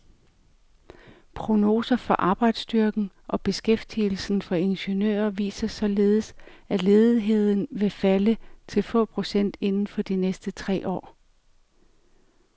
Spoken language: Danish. Prognoser for arbejdsstyrken og beskæftigelsen for ingeniører viser således, at ledigheden vil falde til få procent inden for de næste tre år.